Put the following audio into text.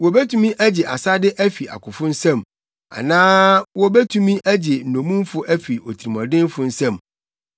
Wobetumi agye asade afi akofo nsam; anaa wobetumi agye nnommumfo afi otirimɔdenfo nsam?